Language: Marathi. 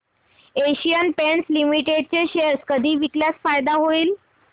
एशियन पेंट्स लिमिटेड चे शेअर कधी विकल्यास फायदा होईल